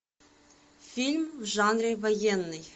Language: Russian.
фильм в жанре военный